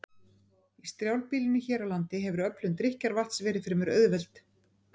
Í strjálbýlinu hér á landi hefur öflun drykkjarvatns verið fremur auðveld.